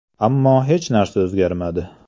Ammo hech narsa o‘zgarmadi.